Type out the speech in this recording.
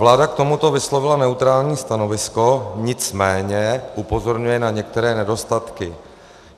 Vláda k tomuto vyslovila neutrální stanovisko, nicméně upozorňuje na některé nedostatky.